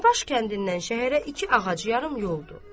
Danabaş kəndindən şəhərə iki ağac yarım yoldur.